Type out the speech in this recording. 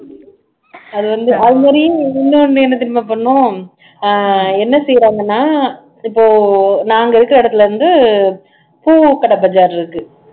அது வந்து அது மாதிரி இன்னொண்ணு என்ன தெரியுமா பண்ணோம் அஹ் என்ன செய்யுறாங்கன்னா இப்போ நாங்க இருக்க இடத்துல வந்து பூ கடை பஜார் இருக்கு